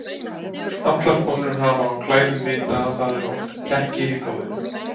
Allar konur sem hafa á klæðum vita að það eru oft kekkir í blóðinu.